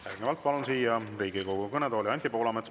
Järgnevalt palun siia Riigikogu kõnetooli Anti Poolametsa.